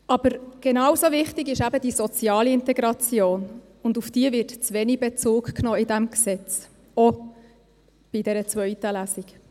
Aber genauso wichtig ist eben die soziale Integration, und auf diese wird in diesem Gesetz zu wenig Bezug genommen, auch in der zweiten Lesung.